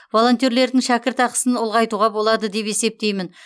волонтерлердің шәкіртақысын ұлғайтуға болады деп есептеймін